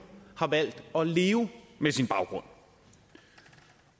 har valgt at leve med sin baggrund